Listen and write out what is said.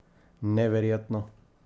Neverjetno?